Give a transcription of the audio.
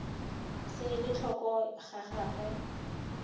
se ele tlhoko ga gagwe